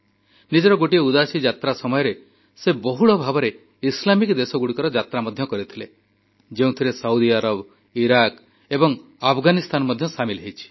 ନିଜର ଗୋଟିଏ ଉଦାସୀ ଯାତ୍ରା ସମୟରେ ସେ ବହୁଳ ଭାବରେ ଇସ୍ଲାମିକ ଦେଶଗୁଡ଼ିକର ଯାତ୍ରା ମଧ୍ୟ କରିଥିଲେ ଯେଉଁଥିରେ ସାଉଦି ଆରବ ଇରାକ୍ ଏବଂ ଆଫଗାନିସ୍ତାନ ମଧ୍ୟ ସାମିଲ ରହିଛି